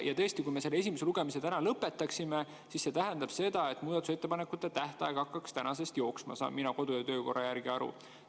Ja tõesti, kui me selle esimese lugemise täna lõpetaksime, siis see tähendaks seda, et muudatusettepanekute tähtaeg hakkaks tänasest jooksma, saan mina kodu‑ ja töökorra järgi aru.